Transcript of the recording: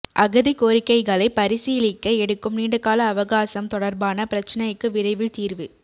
அகதி கோரிக்கைகளை பரிசீலிக்க எடுக்கும் நீண்டகால அவகாசம் தொடர்பான பிரச்சினைக்கு விரைவில் தீர்வு